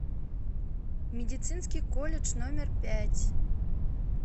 медицинский колледж номер пять